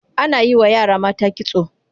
Ana yi wa yara mata kitso.